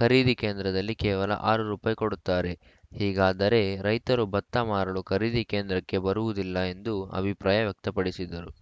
ಖರಿದಿ ಕೇಂದ್ರದಲ್ಲಿ ಕೇವಲ ಆರು ರೂಪಾಯಿ ಕೊಡುತ್ತಾರೆ ಹೀಗಾದರೆ ರೈತರು ಭತ್ತ ಮಾರಲು ಖರೀದಿ ಕೇಂದ್ರಕ್ಕೆ ಬರುವುದಿಲ್ಲ ಎಂದು ಅಭಿಪ್ರಾಯ ವ್ಯಕ್ತಪಡಿಸಿದರು